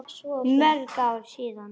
Mörg ár síðan.